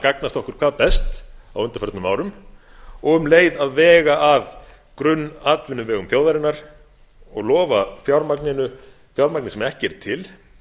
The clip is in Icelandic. gagnast okkur hvað best á undanförnum árum og um leið að vega að grunnatvinnuvegum þjóðarinnar og lofa fjármagninu fjármagni sem ekki er til